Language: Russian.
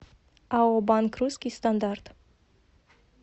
ао банк русский стандарт